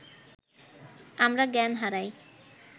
আমরা জ্ঞান হারাই